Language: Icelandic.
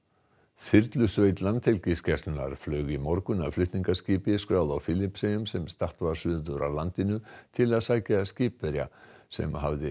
þyrlusveit Landhelgisgæslunnar flaug í morgun að flutningaskipi skráðu á Filippseyjum sem statt var suður af landinu til að sækja skipverja sem hafði